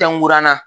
Fɛnna